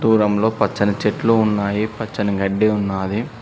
పొలం లో పచ్చని చెట్లు ఉన్నాయి పచ్చని గడ్డి ఉన్నాది.